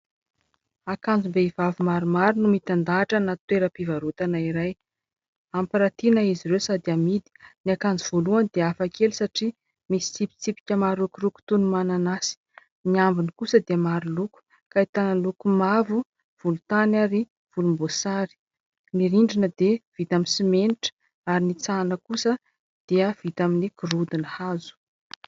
Akanjom-behivavy maromaro no mitandahatra anaty toeram-pivarotana iray. Ampirantiana izy ireo sady amidy. Ny akanjo voalohany dia hafakely satria misy tsipitsipika marokoroko toy ny mananasy. Ny ambiny kosa dia maro loko, ahitana loko mavo, volontany ary volomboasary. Ny rindrina dia vita amin'ny simenitra ary ny itsahana kosa dia vita amin'ny gorodona hazo.